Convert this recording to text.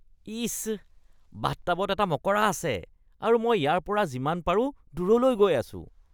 ইচ, বাথটাবত এটা মকৰা আছে আৰু মই ইয়াৰ পৰা যিমান পাৰো দূৰলৈ গৈ আছোঁ।